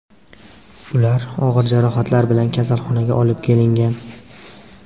Ular og‘ir jarohatlar bilan kasalxonaga olib kelingan.